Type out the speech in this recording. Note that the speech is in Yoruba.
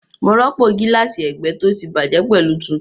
Mo rọ́pò gíláàsì ẹgbẹ́ tó ti bàjẹ́ pẹ̀lú tuntun